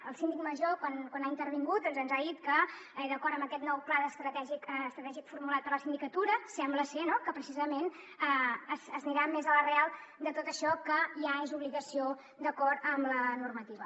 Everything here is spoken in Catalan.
el síndic major quan ha intervingut doncs ens ha dit que d’acord amb aquest nou pla estratègic formulat per la sindicatura sembla ser no precisament s’anirà més a l’arrel de tot això que ja és obligació d’acord amb la normativa